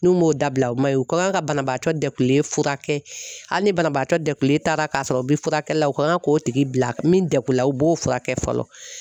N'u m'o dabila o ma ɲi u ka kan ka banabaatɔ degunlen furakɛ hali ni banabaatɔ degunlen taara ka sɔrɔ u bi furakɛli la u ka kan k'o tigi bila ka min degu la u b'o furakɛ fɔlɔ.